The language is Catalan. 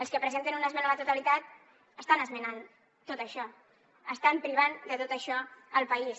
els que presenten una esmena a la totalitat estan esmenant tot això estan privant de tot això el país